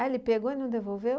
ele pegou e não devolveu?